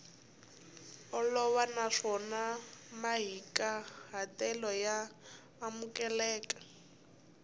olova naswona mahikahatelo ya amukeleka